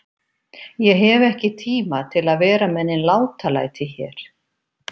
Ég hef ekki tíma til að vera með nein látalæti hér.